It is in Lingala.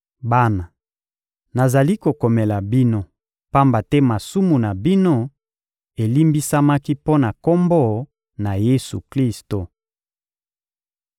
Bana, nazali kokomela bino, pamba te masumu na bino elimbisamaki mpo na Kombo na Yesu-Klisto.